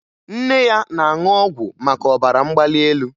Nne ya na-aṅụ ọgwụ maka ọbara mgbali elu